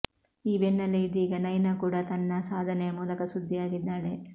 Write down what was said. ಈ ಬೆನ್ನಲ್ಲೇ ಇದೀಗ ನೈನಾ ಕೂಡ ತನ್ನ ಸಾಧನೆಯ ಮೂಲಕ ಸುದ್ದಿಯಾಗಿದ್ದಾಳೆ